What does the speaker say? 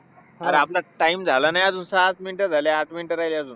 अरे आपला time झालं नाही अजून. सहाच minutes झाली. आठ minutes राहिली अजून.